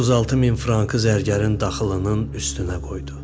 36 min frankı zərgərin daxılının üstünə qoydu.